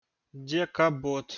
дека бот